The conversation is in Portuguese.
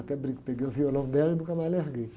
Até brinco, peguei o violão dela e nunca mais larguei.